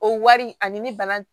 O wari ani ni bana